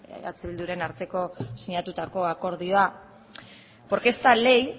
eh bilduren artean sinatutako akordioa porque esta ley